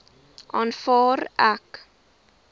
aanvaar ek